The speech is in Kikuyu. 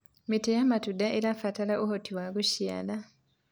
mĩtĩ ya matunda irabatara ũhoti wa gũciara